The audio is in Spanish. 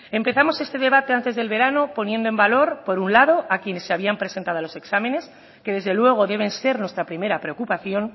empezamos este debate antes del verano poniendo en valor por un lado a quienes se habían presentado a los exámenes que desde luego deben ser nuestra primera preocupación